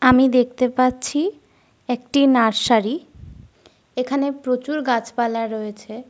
আমি দেখতে পাচ্ছি একটি নার্সারী । এখানে প্রচুর গাছপালা রয়েছে।